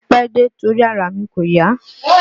Mo pẹ́ dé, torí ara mi kò yá